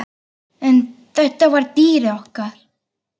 En þetta var dýrið okkar.